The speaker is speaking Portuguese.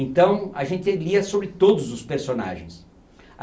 Então, a gente lia sobre todos os personagens.